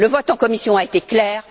Le vote en commission a été clair.